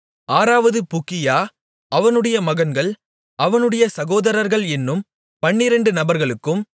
ஆறாவது புக்கியா அவனுடைய மகன்கள் அவனுடைய சகோதரர்கள் என்னும் பன்னிரெண்டு நபர்களுக்கும்